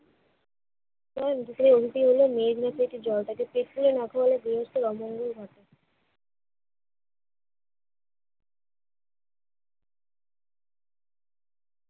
মেয়ে মুখে একটু জলটা তো পেট পুরে না খেলে গৃহস্থের অমঙ্গল হয়।